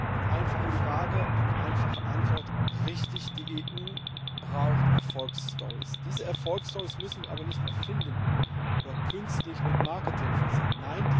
Eine einfache Frage, eine einfache Antwort Richtig die EU braucht Erfolgsstorys! Diese Erfolgsstorys müssen wir aber nicht erfinden oder künstlich mit Marketing versehen.